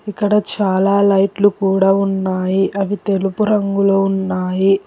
ఇక్కడ చాలా లైట్లు కూడా ఉన్నాయి అవి తెలుపు రంగులో ఉన్నాయి.